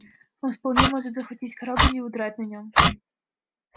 он вполне может захватить корабль и удрать на нём